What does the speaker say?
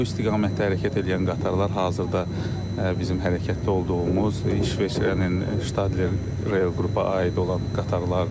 Bu istiqamətdə hərəkət eləyən qatarlar hazırda bizim hərəkətdə olduğumuz İsveçrənin Ştadelir qrupa aid olan qatarlardır.